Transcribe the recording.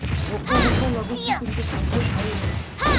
ଭୋକ ଭୋକ ଲାଗୁଛି କିନ୍ତୁ ଖାଦ୍ୟ ଖାଇ ହେଉନି